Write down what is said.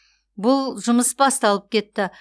бұл жұмыс басталып кетті